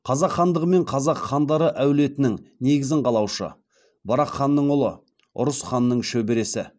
қазақ хандығы мен қазақ хандары әулетінің негізін қалаушы барақ ханның ұлы ұрыс ханның шөбересі